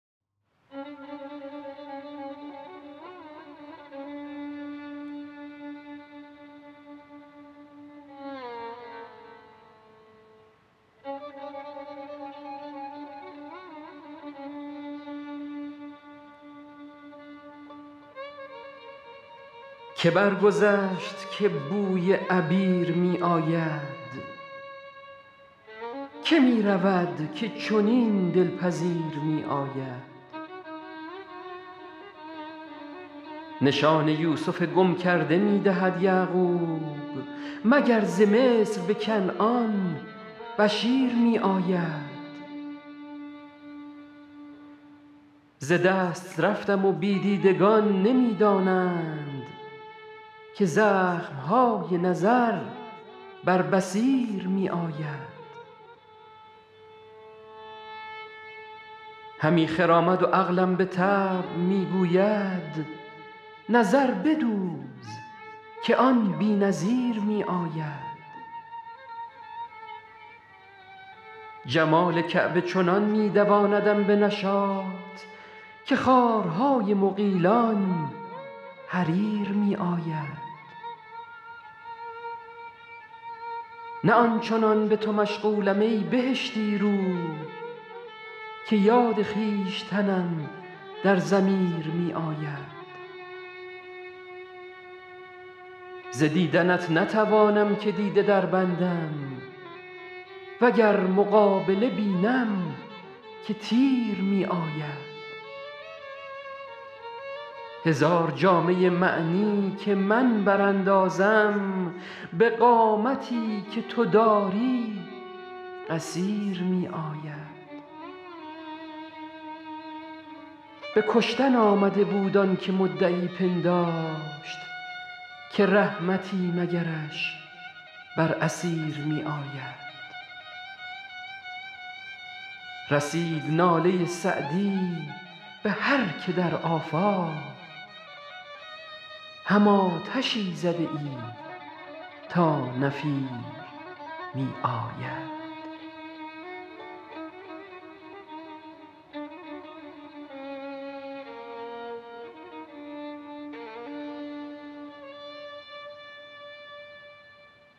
که برگذشت که بوی عبیر می آید که می رود که چنین دل پذیر می آید نشان یوسف گم کرده می دهد یعقوب مگر ز مصر به کنعان بشیر می آید ز دست رفتم و بی دیدگان نمی دانند که زخم های نظر بر بصیر می آید همی خرامد و عقلم به طبع می گوید نظر بدوز که آن بی نظیر می آید جمال کعبه چنان می دواندم به نشاط که خارهای مغیلان حریر می آید نه آن چنان به تو مشغولم ای بهشتی رو که یاد خویشتنم در ضمیر می آید ز دیدنت نتوانم که دیده دربندم و گر مقابله بینم که تیر می آید هزار جامه معنی که من براندازم به قامتی که تو داری قصیر می آید به کشتن آمده بود آن که مدعی پنداشت که رحمتی مگرش بر اسیر می آید رسید ناله سعدی به هر که در آفاق هم آتشی زده ای تا نفیر می آید